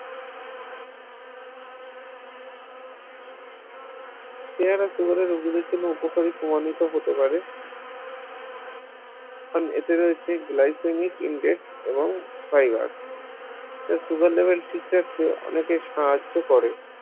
পেয়ারা সেবনে রোগীদের জন্য উপকারী প্রমাণিত হতে পারে কারোর এতে রয়েছে glycemic index এবং ফাইবার যা sugar level ঠিক রাখতে অনেকের সাহায্য করে